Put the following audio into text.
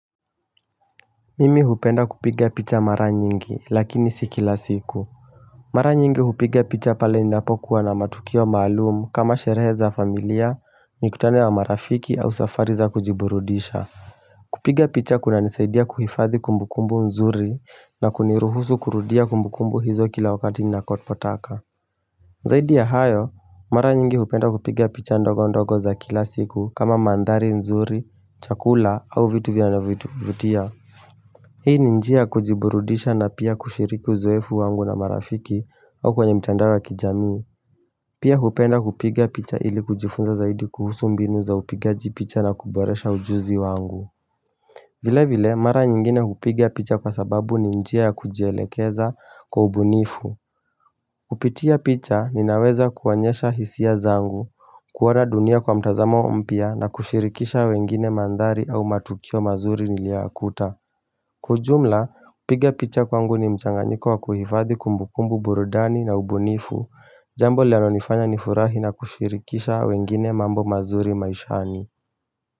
Mimi hupenda kupiga picha mara nyingi lakini sikila siku Mara nyingi hupiga picha pale ninapokuwa na matukio maalum, kama sherehe za familia ni kutane na marafiki au safari za kujiburudisha kupiga picha kunanisaidia kuhifadhi kumbukumbu nzuri na kuniruhusu kurudia kumbukumbu hizo kila wakati ni nakotpotaka zaidi ya hayo mara nyingi hupenda kupiga picha ndogo ndogo za kila siku kama mandhari nzuri chakula au vitu vya na vitu vutia Hii ninjia ya kujiburudisha na pia kushiriki uzoefu wangu na marafiki au kwenye mtandao wa kijamii. Pia hupenda kupiga picha ili kujifunza zaidi kuhusu mbinu za upigaji picha na kuboresha ujuzi wangu. Vile vile, mara nyingine hupiga picha kwa sababu ni njia ya kujielekeza kwa ubunifu. Pitia picha ninaweza kuonyesha hisia zangu, kuoana dunia kwa mtazamo mpya na kushirikisha wengine, mandhari au matukio mazuri niliyakuta. Kwa ujumla, kupiga picha kwangu ni mchanganyiko wa kuhifadhi kumbukumbu, burudani na ubunifu Jambo linanonifanya nifurahi na kushirikisha wengine mambo mazuri maishani.